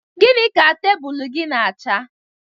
Gịnị ka tebụlụ gị n'acha?